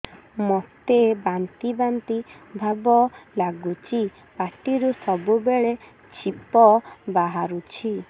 ମୋତେ ବାନ୍ତି ବାନ୍ତି ଭାବ ଲାଗୁଚି ପାଟିରୁ ସବୁ ବେଳେ ଛିପ ବାହାରୁଛି